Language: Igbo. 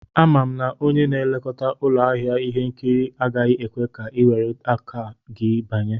Ama m na onye na-elekọta ụlọ ahịa ihe nkiri agaghị ekwe ka i were akpa gị banye